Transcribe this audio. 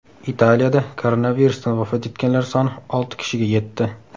Italiyada koronavirusdan vafot etganlar soni olti kishiga yetdi.